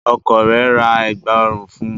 Ọkọ rẹ̀ ra Ẹ̀gbá ọrùn fun